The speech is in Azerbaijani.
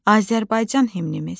Azərbaycan himnimiz.